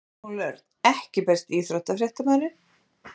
Samúel Örn EKKI besti íþróttafréttamaðurinn?